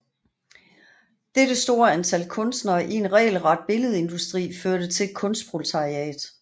Dette store antal kunstnere i en regelret billedindustri førte til et kunstproletariat